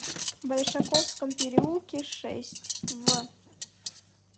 большаковском переулке шесть в